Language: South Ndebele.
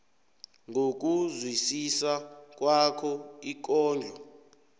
ngokuzwisisa kwakho ikondlo